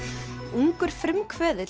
ungur frumkvöðull